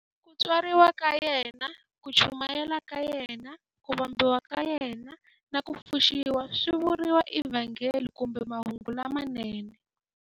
Ku tswariwa ka yena, ku chumayela ka yena, ku vambiwa ka yena, na ku pfuxiwa swi vuriwa eVhangeli kumbe"Mahungu lamanene".